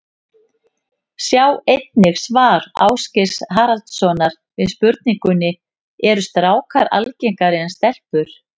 Sjá einnig svar Ásgeirs Haraldssonar við spurningunni Eru strákar algengari en stelpur?